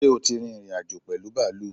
ṣẹ́ o tí ìrìn-àjò pẹ̀lú bàálù?